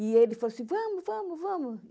E ele falou assim, vamos, vamos, vamos.